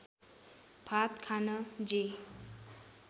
भात खान जे